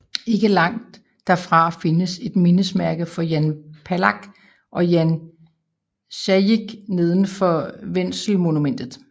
Ikke langt derfra findes der et mindesmærke for Jan Palach og Jan Zajíc neden for Wenzelmonumentet